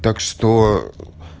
так что